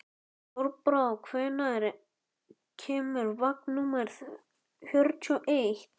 Þorbrá, hvenær kemur vagn númer fimmtíu og eitt?